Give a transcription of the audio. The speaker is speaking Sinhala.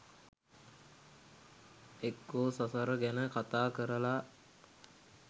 එක්කෝ සසර ගැන කතා කරලා